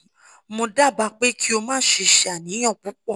mo dábàá pé kí o má ṣe ṣe àníyàn púpọ̀